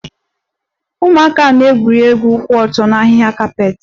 Ụmụaka ahụ na-egwuri egwu ụkwụ ọtọ na ahịhịa kapet